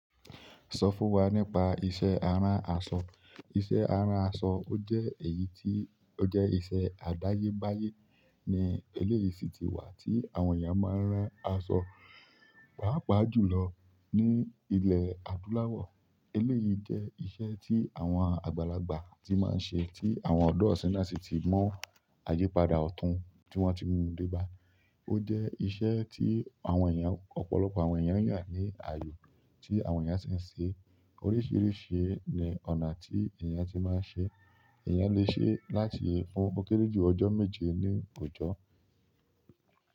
Sọ fún wa nípa iṣẹ́ aran asọ. Iṣẹ́ aran asọ ó jẹ́ èyí tí ó jẹ́ iṣẹ́ àdáyébáyé ní eléyìí sí tí wà tí àwọn èèyàn máa ń rán aṣọ, pàápàá jùlọ ní ilẹ̀ adúláwọ̀. Eléyìí jẹ́ iṣẹ́ tí àwọn àgbàlagbà ti máa ń ṣe, tí àwọn ọ̀dọ́ isínyi náà sì ti mu àyípadà ọ̀tún tí wọ́n ti mú dé bá. Ó jẹ́ iṣẹ́ tí àwọn èèyàn, ọ̀pọ̀lọpọ̀ àwọn èèyàn yàn ní ayọ̀ tí àwọn èèyàn sì ń ṣe. Oríṣìíríṣìí ni ọ̀nà tí èèyàn ti máa ń ṣe. Ẹ̀yàn lè ṣe láti fún ó kéré jù ọjọ́ méje ní òjọ́